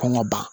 Kɔn ka ban